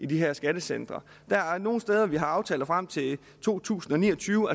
de her skattecentre der er nogle steder vi har aftaler frem til to tusind og ni og tyve og